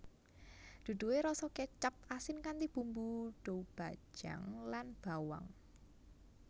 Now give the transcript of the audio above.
Duduhe rasa kecap asin kanthi bumbu doubanjiang lan bawang